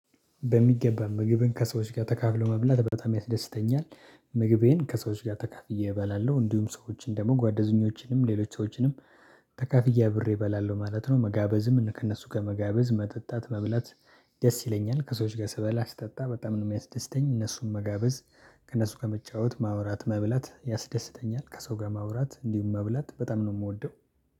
በሚገባ ምግብን ከሰዎች ጋር ተካፍሎ መብላት በጣም ያስደስተኛል። ምግቤን ከሰዎች ጋር ተካፍዬ እባላለሁ እንዲሁም ሰዎችን ደግሞ ጓደኞችንም ሌሎች ሰዎችንም ተካፍዬ አብሬ እበላለሁ ማለት ነው። መጋበዝም እኔ ከእነሱ ጋር መጋበዝ መጠጣት መብላት። ደስ ይለኛል ከሰዎች ጋር ስበላ ስጠጣ በጣም ነው የሚያስደስተኝ እነሱን መጋበዝ። ከእነሱ ጋር መጫወት ማውራት መብላት ያስደስተኛል ከሰው ጋር ማውራት እንዲሁም መብላት በጣም ነው የምወደው